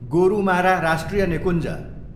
गोरुमारा राष्ट्रिय निकुञ्ज